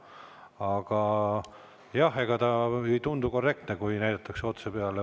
Aga jah, ega ei tundu korrektne, kui näidatakse otse kellegi peale.